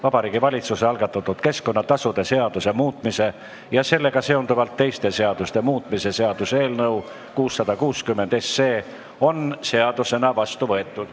Vabariigi Valitsuse algatatud keskkonnatasude seaduse muutmise ja sellega seonduvalt teiste seaduste muutmise seaduse eelnõu 660 on seadusena vastu võetud.